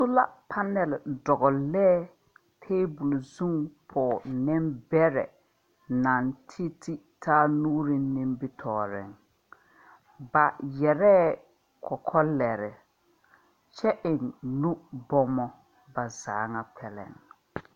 Sola panel dɔglee tabuli zung poɔ-nimbere nang titi taa nuuring nimbitooren ba yere kɔkɔ leri kye en nu bumo ba zaa nga kpɛlɛn.